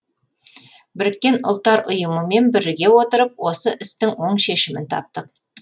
біріккен ұлттар ұйымымен біріге отырып осы істің оң шешімін таптық